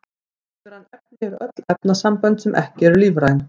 Ólífræn efni eru öll efnasambönd sem eru ekki lífræn.